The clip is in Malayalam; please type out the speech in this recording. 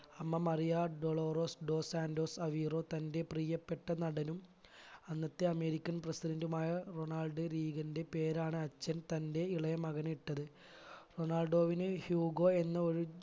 അമ്മ മറിയ ഡൊളോറസ് ഡോസൻറ്റോസ് അവിറോ തന്റെ പ്രിയപ്പെട്ട നടനും അന്നത്തെ american president മായ റൊണാൾഡോ റിഗിന്റെ പേരാണ് അച്ഛൻ തന്റെ ഇളയ മകൻ ഇട്ടത് റൊണാൾഡോവിന് ഹ്യൂഗോ എന്ന ഒരു